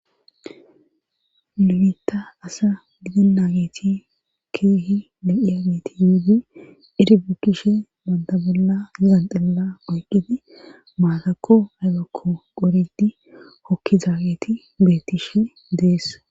Nu bita asa gidena geti kehi loyiagetti eri bukishini banta bola janxila oyqidi hokidi matakko aybako qoriyaget hokizza geti betishe dees.